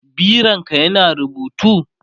bironka ya na rubutu?